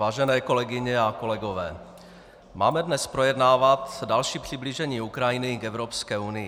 Vážené kolegyně a kolegové, máme dnes projednávat další přiblížení Ukrajiny k Evropské unii.